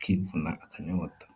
,kwivuna akanyota.